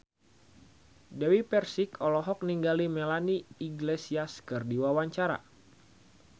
Dewi Persik olohok ningali Melanie Iglesias keur diwawancara